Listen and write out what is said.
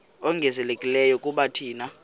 ongezelelekileyo kuba thina